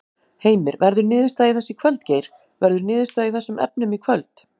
Heimir: Verður niðurstaða í þessu í kvöld Geir, verður niðurstaða í þessum efnum í kvöld?